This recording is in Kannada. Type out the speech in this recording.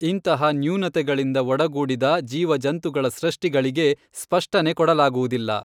ಇಂತಹ ನ್ಯೂನತೆಯಿಂದ ಒಡಗೂಡಿದ ಜೀವಜಂತುಗಳ ಸೃಷ್ಟಿಗಳಿಗೆ ಸ್ಪಷ್ಟನೆ ಕೊಡಲಾಗುವುದಿಲ್ಲ.